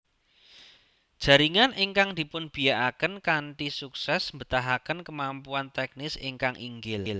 Jaringan ingkang dipunbiakaken kanthi suksés mbetahahken kemampuan teknis ingkang inggil